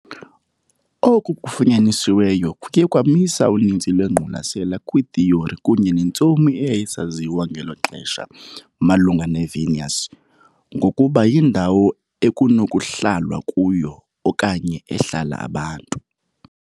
Oku kufunyanisiweyo kuye kwamisa uninzi lwengqwalasela kwiithiyori kunye nentsomi eyayisaziwa ngelo xesha malunga neVenus ngokuba yindawo ekunokuhlalwa kuyo okanye ehlala abantu.